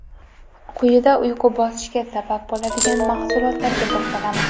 Quyida uyqu bosishiga sabab bo‘ladigan mahsulotlarga to‘xtalamiz.